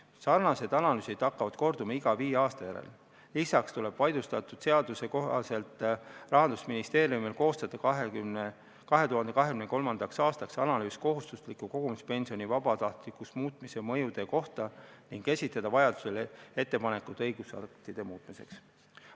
Sellised analüüsid hakkavad korduma iga viie aasta järel, lisaks tuleb vaidlustatud seaduse kohaselt Rahandusministeeriumil koostada 2023. aastaks analüüs kohustusliku kogumispensioni vabatahtlikuks muutmise mõjude kohta ning esitada vajadusel ettepanekud õigusaktide muutmiseks.